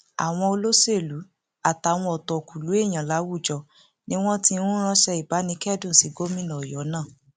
àwọn olóṣèlú àtàwọn ọtọkùlú èèyàn láwùjọ ni wọn ti ń ránṣẹ ìbánikẹdùn sí gómìnà ọyọ náà